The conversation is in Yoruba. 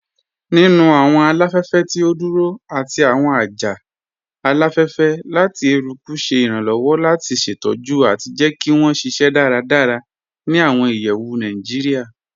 Nínu awọn aláfẹ̀fẹ̀ tí o dúró àti awọn ajá aláfẹ̀fẹ̀ lati èrùkù ṣè irànlowọ̀ lati ṣetọ̀jù àti jẹ́ kí wọn ṣíṣẹ́ dáràdárà ni awọn ìyẹ̀wù Naijíríà.